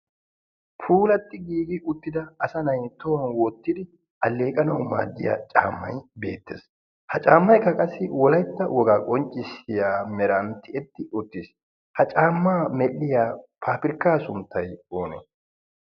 puulatti giigi uttida asa nai tohuwan woottidi alleeqanawu maaddiya caammai beettees. ha caammaekka qassi wolaitta wogaa qonccissiya meran tiyetti uttiis. ha caammaa medhdhiya paafirkkaa sunttai oonee?